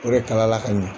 O de kala la ka ɲɛ